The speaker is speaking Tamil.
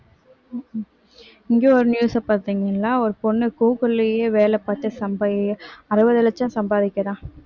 இங்க ஒரு news அ பார்த்தீங்கள்ளா ஒரு பொண்ணு கூகுள்லயே வேலை பார்த்து சம்பாதி~ அறுபது லட்சம் சம்பாதிக்கிறா